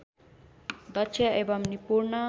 दक्ष एवम् निपुण